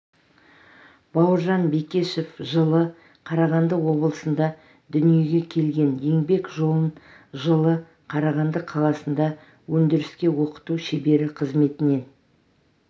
бауыржан бекешев жылы қарағанды облысында дүниеге келген еңбек жолын жылы қарағанды қаласында өндіріске оқыту шебері қызметінен